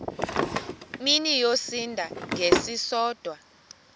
mini yosinda ngesisodwa